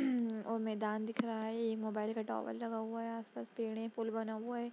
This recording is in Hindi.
और मैदान दिख रहा है। ये मोबाइल का टावर लगा हुआ है आसपास पेड़ है पुल बना हुआ है।